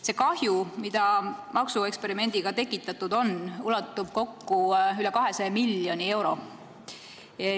See kahju, mida maksueksperimendiga tekitatud on, ulatub üle 200 miljoni euro.